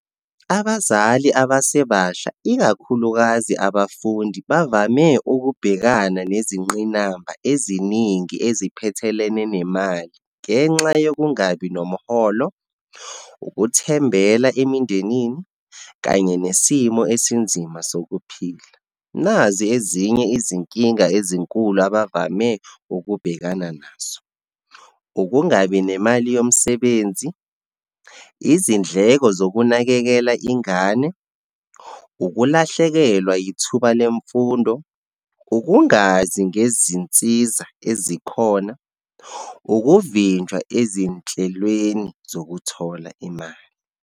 Abazali abasebasha, ikakhulukazi abafundi bavame ukubhekana nezingqinamba eziningi eziphethelene nemali ngenxa yokungabi nomholo, ukuthembela emindenini, kanye nesimo esinzima sokuphila. Nazi ezinye izinkinga ezinkulu abavame ukubhekana nazo, ukungabi nemali yomsebenzi, izindleko zokunakekela ingane, ukulahlekelwa yithuba lemfundo, ukungazi ngezinsiza ezikhona, ukuvinjwa ezinhlelweni zokuthola imali.